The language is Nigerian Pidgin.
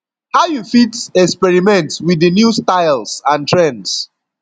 how you fit experiment with di new styles and trends